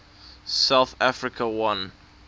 south africa won